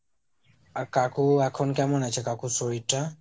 আর কাকু এখন কেমন আছে, কাকুর শরীর টা?